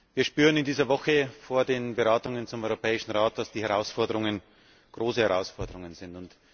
Wir spüren in dieser Woche vor den Beratungen zum Europäischen Rat, dass die Herausforderungen große Herausforderungen sind.